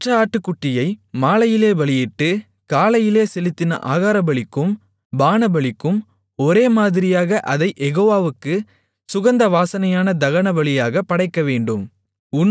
மற்ற ஆட்டுக்குட்டியை மாலையிலே பலியிட்டு காலையிலே செலுத்தின ஆகாரபலிக்கும் பானபலிக்கும் ஒரேமாதிரியாக அதைக் யெகோவாவுக்குச் சுகந்த வாசனையான தகனபலியாகப் படைக்கவேண்டும்